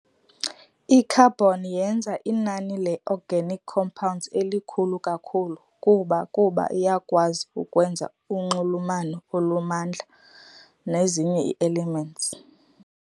I-Carbon yenza inani leorganic compounds elikhulu kakhulu kuba kuba iyakwazi ukwenza unxulumano olumandla nezinye ii-elements.